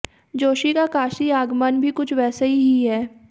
जोशी का काशी आगमन भी कुछ वैसा ही है